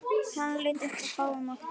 Hann leit upp á báðum áttum.